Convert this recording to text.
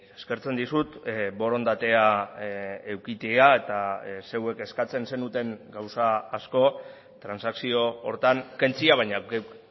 eskertzen dizut borondatea edukitzea eta zeuek eskatzen zenuten gauza asko transakzio horretan kentzea baina geuk